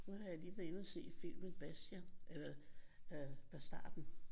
Nu har jeg lige været inde og se filmen Bastian øh Bastarden